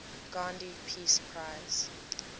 gandhi peace prize